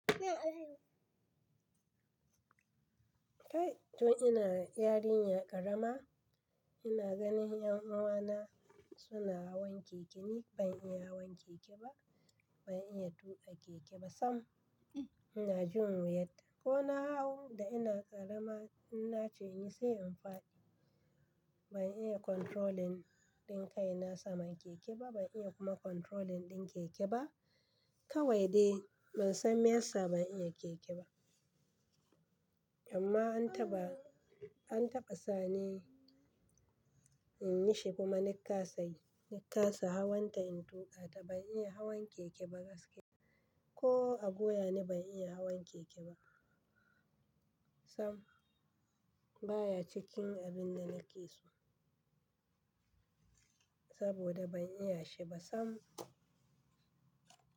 Kai tun ina yarinya ƙarama ina ganin 'yan uwana suna hawan keke ni ban iya hawan keke ba, ban iya tuƙa keke ba sam ina jin wuyarta. Ko na hau da ina ƙarama ina ce in yi sai in faɗi. Ban iya controlling ɗin kai na saman keke ba ban iya kuma controlling ɗin keke ba. Kawai dai ban san me yasa ban iya keke ba. Amma an taɓa, an taɓa sani in yi shi kuma na kasa yi, na kasa hawanta in tuƙa ta ban iya hawan keke ba gaskiya. Ko a goya ni ban iya hawan keke ba. Sam baya cikin abin da nake so saboda ban iya shi ba sam.